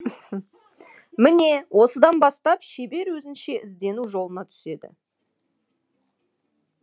міне осыдан бастап шебер өзінше іздену жолына түседі